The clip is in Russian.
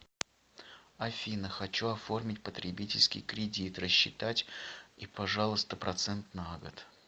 афина хочу оформить потребительский кредит рассчитать и пожалуйста процент на год